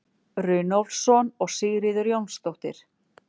Runólfsson og Sigríður Jónsdóttir.